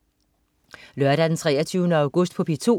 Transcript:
Lørdag den 23. august - P2: